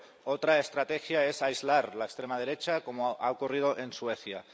Otra estrategia es aislar la extrema derecha, como ha ocurrido en Suecia.